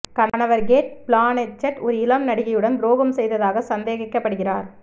கணவர் Cate Blanchett ஒரு இளம் நடிகையுடன் துரோகம் செய்ததாக சந்தேகிக்கப்படுகிறார்